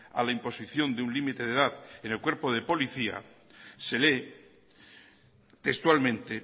a la imposición de un límite de edad en el cuerpo de policía se lee textualmente